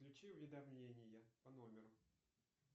включи уведомления по номеру